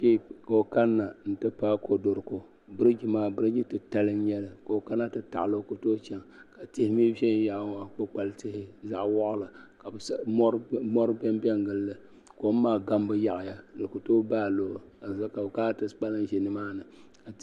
Kpe ka o kani na n ti paayi kodoroko biriji maa biriji titali n nyɛli ka o kana ti taɣa li o ku tooyi chaŋ ka tihi mi ʒɛ yaɣali ŋɔ kpukpali tihi zaɣa waɣila ka mɔri dɔn do n gili li kɔm maa gambu yaɣaya di ku tooyi baayi looyi ka di zuɣu ka bi kana ti kpalim ʒɛ ni maa ni.